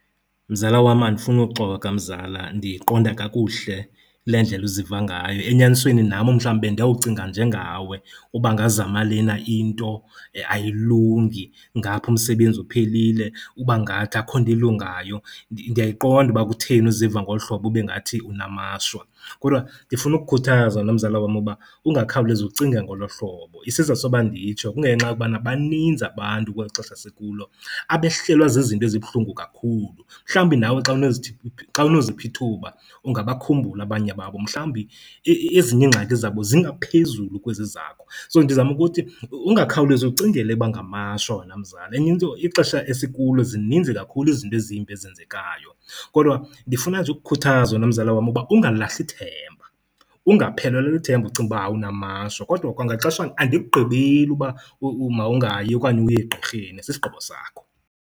Mzala wam, andifunuxoka mzala, ndiyiqonda kakuhle le ndlela uziva ngayo. Enyanisweni nam umhlambi bendiyawucinga njengawe. Uba ngazama lena into ayilungi, ngapha umsebenzi uphelile ubangathi akhukho nto ilungayo. Ndiyayiqonda uba kutheni uziva ngolu hlobo ube ngathi unamashwa, kodwa ndifuna ukukhuthaza wena mzala wam uba ungakhawulezi ucinge ngolo hlobo. Isizathu soba nditsho kungenxa yokubana baninzi abantu kweli xesha sikulo abehlelwa zizinto ezibuhlungu kakhulu. Mhlawumbi nawe xa unozipha ithuba ungabakhumbula abanye babo. Mhlawumbi ezinye iingxaki zabo zingaphezulu kwezi zakho, so ndizama ukuthi ungakhawulezi ucingele uba ngamashwa, wena mzala. Enye into ixhesha esikulo zininzi kakhulu izinto ezimbi ezenzekayo kodwa ndifuna nje ukukhuthaza, wena mzala wam, uba ungalahli ithemba. Ungaphelelwa lithemba ucinga uba, hayi unamashwa, kodwa kwangaxeshanye andikugqibeli uba mawungayi okanye uye egqirheni, sisigqibo sakho.